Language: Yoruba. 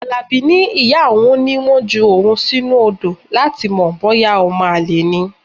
Alabi ní ìyá òun ní wọ́n ju òun sínú odo láti mọ̀ bóyá omo-ale ni.